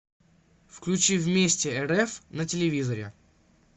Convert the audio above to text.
включи вместе рф на телевизоре